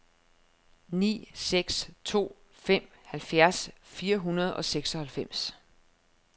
ni seks to fem halvfjerds fire hundrede og seksoghalvfems